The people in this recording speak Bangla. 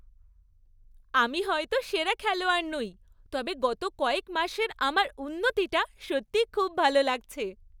আমি হয়তো সেরা খেলোয়াড় নই তবে গত কয়েক মাসের আমার উন্নতিটা সত্যিই খুব ভালো লাগছে।